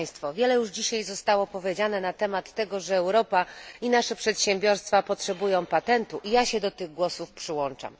Wiele już dzisiaj zostało powiedziane na temat tego, że Europa i nasze przedsiębiorstwa potrzebują patentu i ja się do tych głosów przyłączam.